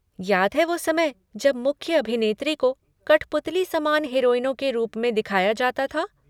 याद है वो समय जब मुख्य अभिनेत्री को कठपुतली समान हीरोइनों के रूप में दिखाया जाता था?